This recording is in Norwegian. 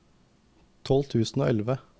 tolv tusen og elleve